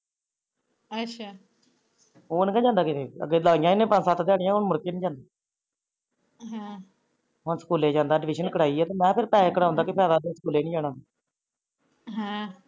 ਅੱਛਾ ਹੁਣ ਨੀ ਜਾਂਦਾ ਕਿਤੇ ਅੱਗੇ ਲਾਈਆਂ ਇਹਨੇ ਪੰਜ ਸੱਤ ਦਿਹਾੜੀਆਂ ਹਮ ਹੁਣ ਸਕੂਲੇ ਜਾਂਦਾ ਮੁੜ ਕੇ ਅਡਮਿਸ਼ਨ ਕਰਾਈ ਆ ਮੈ ਪੇਹੇ ਕਰਾਉਣ ਦਾ ਕੀ ਫੇਦਾ ਜੇ ਸਕੂਲੇ ਨੀ ਜਾਣਾ ਹਮ